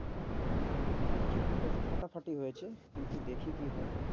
হম interview টা তো ফাটাফাটি হয়েছে, কিন্তু দেখি কি হয়?